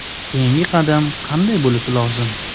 Keyingi qadam qanday bo‘lishi lozim?